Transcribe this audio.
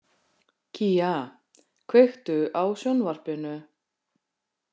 Kía, kveiktu á sjónvarpinu.